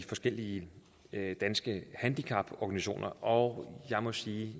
forskellige danske handicaporganisationer og jeg må sige